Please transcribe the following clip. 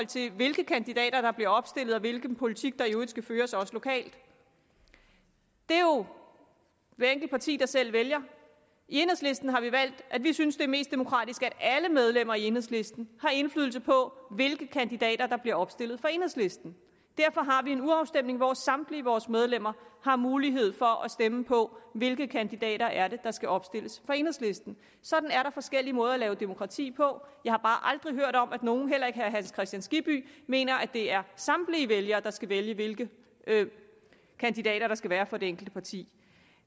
til hvilke kandidater der bliver opstillet og hvilken politik der i øvrigt skal føres også lokalt det er jo hvert enkelt parti der selv vælger i enhedslisten har vi valgt at vi synes det er mest demokratisk at alle medlemmer i enhedslisten har indflydelse på hvilke kandidater der bliver opstillet for enhedslisten derfor har vi en urafstemning hvor samtlige vores medlemmer har mulighed for at stemme på hvilke kandidater det er der skal opstilles for enhedslisten sådan er der forskellige måder at lave demokrati på jeg har bare aldrig hørt om at nogen heller ikke herre hans kristian skibby mener at det er samtlige vælgere der skal vælge hvilke kandidater der skal være for det enkelte parti